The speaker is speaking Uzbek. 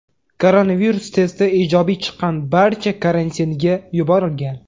Koronavirus testi ijobiy chiqqan barcha karantinga yuborilgan.